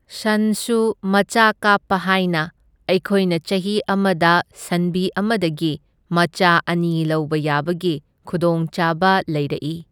ꯁꯟꯁꯨ ꯃꯆꯥ ꯀꯥꯞꯄ ꯍꯥꯏꯅ ꯑꯩꯈꯣꯏꯅ ꯆꯍꯤ ꯑꯃꯗ ꯁꯟꯕꯤ ꯑꯃꯗꯒꯤ ꯃꯆꯥ ꯑꯅꯤ ꯂꯧꯕ ꯌꯥꯕꯒꯤ ꯈꯨꯗꯣꯡꯆꯥꯕ ꯂꯩꯔꯛꯏ꯫